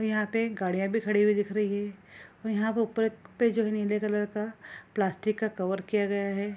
और यहाँ पे गाड़ियाँ भी खड़ी हुई दिख रही है और यहाँ पे ऊपर पे जो नीले कलर का प्लास्टिक का कवर किया गया है ।